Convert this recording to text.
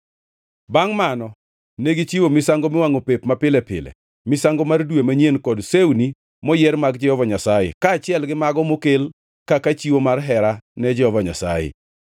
Bangʼ mano, negichiwo misango miwangʼo pep mapile pile, misango mar Dwe Manyien kod sewni moyier mag Jehova Nyasaye, kaachiel gi mago mokel kaka chiwo mar hera ne Jehova Nyasaye.